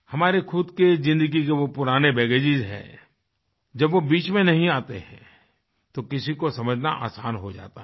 हमारे ख़ुद के ज़िंदगी के वो पुराने baggagesहैं जब वो बीच में नहीं आते हैं तो किसी को समझना आसान हो जाता है